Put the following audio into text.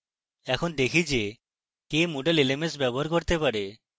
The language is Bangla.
এখন দেখি যে কে moodle lms ব্যবহার করতে পারে: